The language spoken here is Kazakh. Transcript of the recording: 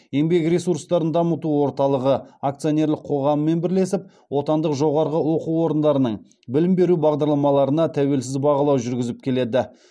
еңбек ресурстарын дамыту орталығы акционерлік қоғамымен бірлесеп отандық жоғарғы оқу орындарының білім беру бағдарламаларына тәуелсіз бағалау жүргізіп келеді